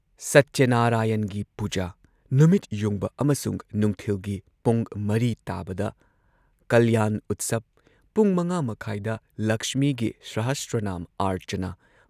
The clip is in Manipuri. ꯁꯇ꯭ꯌꯅꯔꯥꯌꯟꯒꯤ ꯄꯨꯖꯥ, ꯅꯨꯃꯤꯠꯌꯨꯡꯕ ꯑꯃꯁꯨꯡ ꯅꯨꯡꯊꯤꯜꯒꯤ ꯄꯨꯡ ꯴ ꯇꯥꯕꯗ ꯀꯜꯌꯥꯟ ꯎꯠꯁꯕ ꯄꯨꯡ ꯵.꯳꯰ ꯗ ꯂꯛꯁꯃꯤꯒꯤ ꯁꯍꯁ꯭ꯔꯅꯥꯝ ꯑꯥꯔꯆꯅꯥ